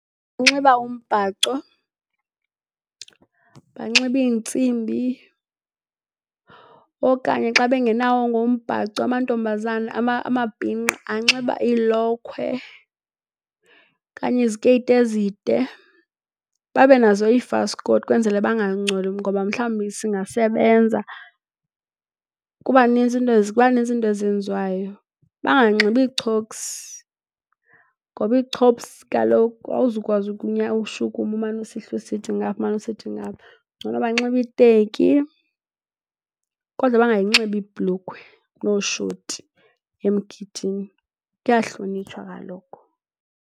Unxiba umbhaco, banxibe iintsimbi, okanye xa bengenawo ngoku umbhaco amantombazana amabhinqa anxiba iilokhwe okanye izikeyiti ezide, babe nazo ifaskoti kwenzele bangangcoli ngoba mhlawumbi singasebenza. Kuba nintsi izinto ezenziwayo. Banganxibi iichophs, ngoba iichophs, kaloku awuzukwazi ushukuma umane usihla usithi ngapha umane usithi ngapha. Ngcono banxibe iiteki kodwa bangayinxibi ibhulukhwe nooshoti emgidini, kuyahlonitshwa kaloku.